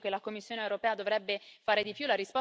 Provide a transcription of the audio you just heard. Io credo che la Commissione europea dovrebbe fare di più.